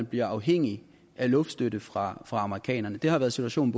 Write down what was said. bliver afhængig af luftstøtte fra amerikanerne det har været situationen